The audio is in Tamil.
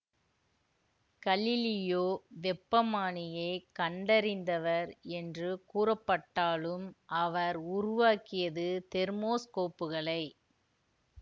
கலிலியோ வெப்பமானியைக் கண்டறிந்தவர் என்று கூறப்பட்டாலும் அவர் உருவாக்கியது தெர்மோஸ்கோப்புகளை